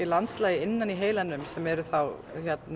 landslagi inni í heilanum sem eru þá